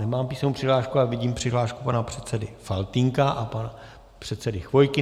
Nemám písemnou přihlášku, ale vidím přihlášku pana předsedy Faltýnka a pana předsedy Chvojky.